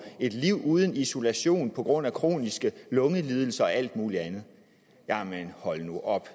et liv uden isolation på grund af kroniske lungelidelser og alt muligt andet jamen hold nu op